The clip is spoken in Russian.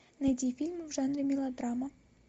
найди фильмы в жанре мелодрама